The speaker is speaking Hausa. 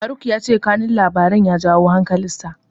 Faruk ya ce kanun labarin ya janyo hankalinsa.